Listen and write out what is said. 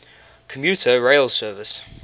commuter rail service